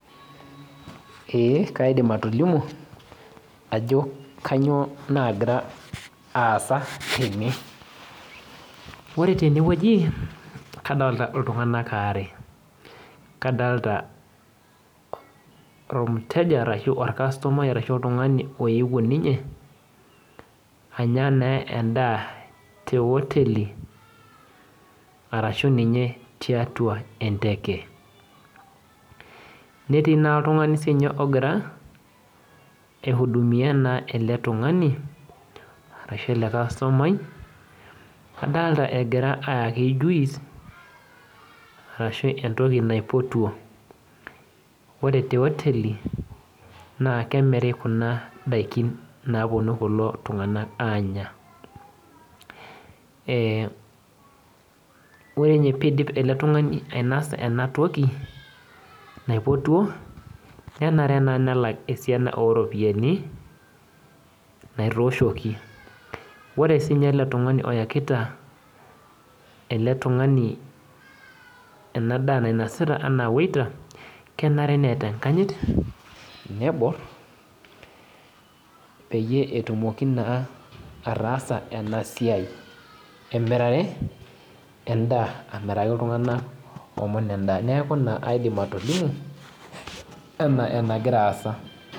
Ee, kaidim atolimu ajo kanyioo nagira aasa tene. Ore tenewueji, kadalta iltung'anak are. Kadalta ormteja arashu orkastomai arashu oltung'ani oewuo ninye, anya naa endaa te oteli, arashu ninye tiatua enteke. Netii naa oltung'ani sinye ogira, ai hudumia naa ele tung'ani, arashu eke kastomai, adalta egira aaki juice, arashu entoki naipotuo. Ore te oteli, na kemiri kuna daikin naponu kulo tung'anak anya. Eh ore nye pidip ele tung'ani ainasa enatoki naipotuo, nenare naa nelak esiana oropiyiani, naitooshoki. Ore sinye ele tung'ani oyakita ele tung'ani ena daa nainasita enaa waiter, kenare neeta enkanyit, nebor, peyie etumoki naa ataasa enasiai, emirare endaa amiraki iltung'anak omon endaa. Neeku ina aidim atolimu, enaa enagira aasa.